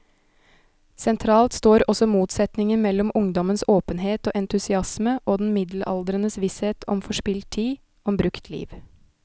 Sentralt står også motsetningen mellom ungdommens åpenhet og entusiasme og den middelaldrendes visshet om forspilt tid, om brukt liv.